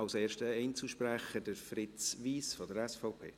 Als erster Einzelsprecher, Fritz Wyss von der SVP.